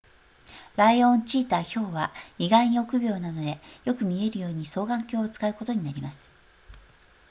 ライオンチーターヒョウは意外に憶病なのでよく見えるように双眼鏡を使うことになります